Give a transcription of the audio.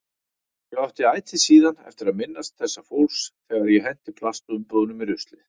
Ég átti ætíð síðan eftir að minnast þessa fólks þegar ég henti plastumbúðum í ruslið.